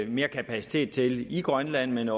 mere kapacitet til i grønland